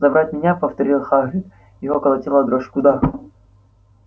забрать меня повторил хагрид его колотила дрожь куда